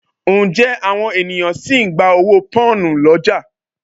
Ǹjẹ́ àwọn ènìyàn sì ń gba owó Pọ́nhùn lọ́jà?